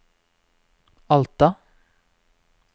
Alta